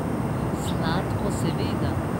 Sladko, seveda.